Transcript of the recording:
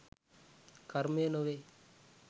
කර්මය නොවේ